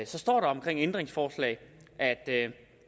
så står der om ændringsforslag at